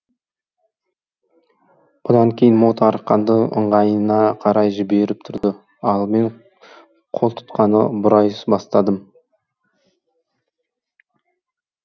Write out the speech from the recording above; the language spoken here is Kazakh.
бұдан кейін мод арқанды ыңғайына қарай жіберіп тұрды ал мен қолтұтқаны бұрай бастадым